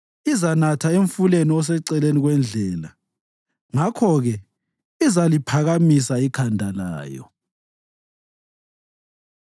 Izanatha emfuleni oseceleni kwendlela; ngakho-ke izaliphakamisa ikhanda layo.